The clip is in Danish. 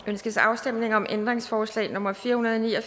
ønskes afstemning om ændringsforslag nummer fire hundrede og ni og